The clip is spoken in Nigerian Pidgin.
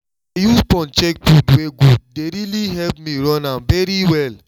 to dey use phone check food wey good dey really help me run am very well